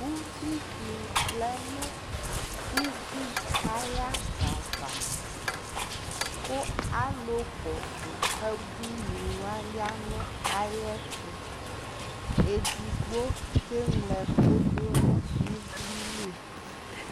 Ʋvɩ dɩ vlɛ nʋ ʋbʋɩ ayadava kʋ alʋ kɔsʋ ebʋɩ nɩwa ya nʋ ayɛtʋ edɩgbo keŋlo ɛkʋ dʋnʋ ɩvlɩ lɩ